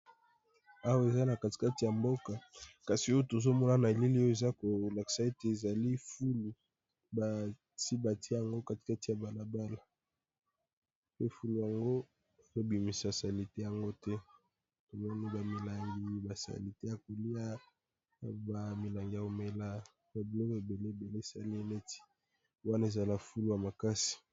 Awa eza na katikati ya mboka kasi oyo tozo mona na elili oyo eza ko laksa ete ezali fulu basi basi tié yango katikati ya balabala pe fulu yango bazo bimisa salite yango te tomoni, ba milangi, ba salite ya kolia ba milanga ya komela, ba biloko ebele ebele esali neti wana eza fulu ya makasi .